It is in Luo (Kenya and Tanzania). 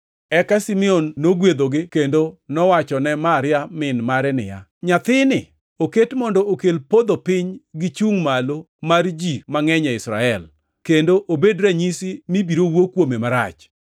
Eka Simeon nogwedhogi kendo nowachone Maria, min mare niya, “Nyathini oketi mondo okel podho piny gichungʼ malo mar ji mangʼeny e Israel, kendo obed ranyisi mibiro wuo kuome marach.